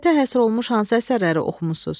Təbiətə həsr olunmuş hansı əsərləri oxumusuz?